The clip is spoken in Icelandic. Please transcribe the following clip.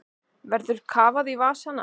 Verður kafað í vasana